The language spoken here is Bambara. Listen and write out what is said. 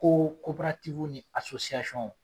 Ko ni